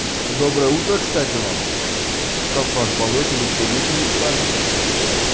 доброе утро кстати вам как вам спалось или вы тоже ещё не спали